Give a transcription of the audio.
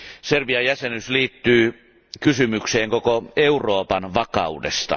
Serbian jäsenyys liittyy kysymykseen koko Euroopan vakaudesta.